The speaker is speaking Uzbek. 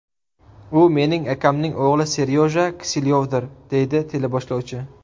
U mening akamning o‘g‘li Seryoja Kiselyovdir”, deydi teleboshlovchi.